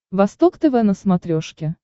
восток тв на смотрешке